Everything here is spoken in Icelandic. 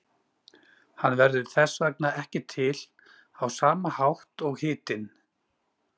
Hann verður þess vegna ekki til á sama hátt og hitinn.